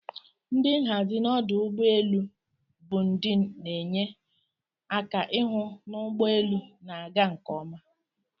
Ndi nhazi n'ọdụ ụgbọ elu bundin'enye aka ihụ n'ụgbọ elu na aga nke oma.